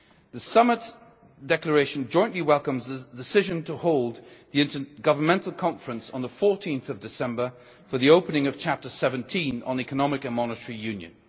The summit declaration jointly welcomes the decision to hold the intergovernmental conference on 14 December for the opening of Chapter 17 on economic and monetary union.